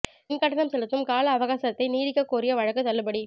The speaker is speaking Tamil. மின் கட்டணம் செலுத்தும் கால அவகாசத்தை நீட்டிக்கக் கோரிய வழக்கு தள்ளுபடி